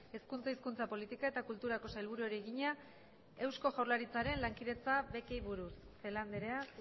hezkuntza hizkuntza politika eta kulturako sailburuari egina eusko jaurlaritzaren lankidetza bekei buruz celaá andrea